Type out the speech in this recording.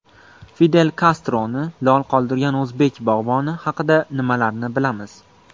Fidel Kastroni lol qoldirgan o‘zbek bog‘boni haqida nimalarni bilamiz?.